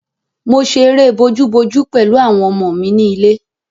Mo ṣe eré bojú-bojú pẹ̀lú àwọn ọmọ mi ni ilé.